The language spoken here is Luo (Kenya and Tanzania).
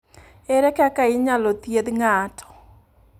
Ere kaka inyalo thiedh ng’ato?